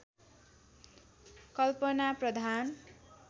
कल्पना प्रधान